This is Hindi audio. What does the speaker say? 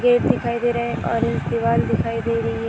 गेट दिखाई दे रहा है ऑरेंज दीवार दिखाई दे रही है ।